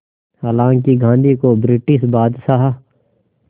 हालांकि गांधी को ब्रिटिश बादशाह